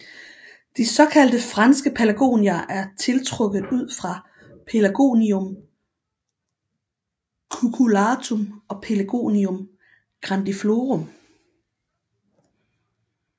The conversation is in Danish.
De såkaldte franske pelargonier er tiltrukket ud fra Pelargonium cucullatum og Pelargonium grandiflorum